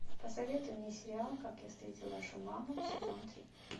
посоветуй мне сериал как я встретил вашу маму сезон три